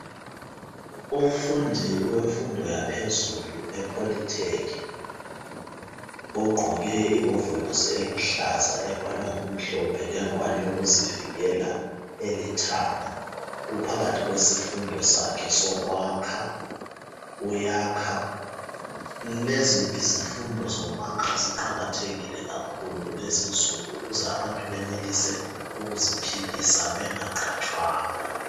Umfundi wemfundo yaphezulu epoly tech ogqoke iwovolosi eluhlaza ebhalwe ngokumhlophe lengwane yokuzivikela elithanga, uphakathi kwesifundo sakhe sokwakha uyakha. Lezi izifundo zokwakha ziqakathekile kakhulu kulezi insuku ukuze abantu benelise ukuziphilisa benfaqhatshwanga.